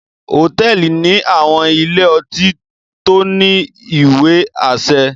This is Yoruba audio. Hotẹẹli ni àwọn ìlé-ọtí to ni iwe-aṣẹ